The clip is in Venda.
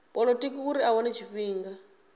polotiki uri a wane tshifhinga